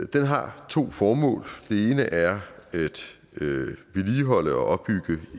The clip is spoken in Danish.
den har to formål det ene er at vedligeholde og opbygge